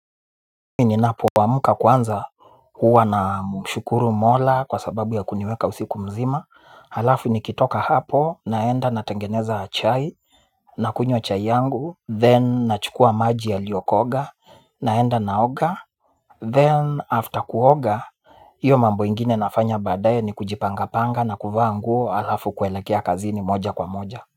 Mi ninapoamka kwanza huwa namshukuru Mola kwa sababu ya kuniweka usiku mzima. Halafu nikitoka hapo naenda natengeneza chai nakunywa chai yangu then nachukuwa maji yaliokoga naenda naoga Then after kuoga, hiyo mambo ingine nafanya badaye ni kujipanga panga na kuvaa nguo halafu kuelekea kazini moja kwa moja.